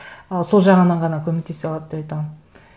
ы сол жағынан ғана көмектес алады деп айта аламын